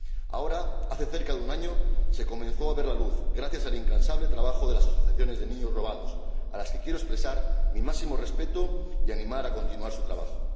Ahora, hace cerca de un año, se ha comenzado a ver la luz gracias al incansable trabajo de las asociaciones de niños robados, a las que quiero expresar mi máximo respeto y animar a que continúen su trabajo.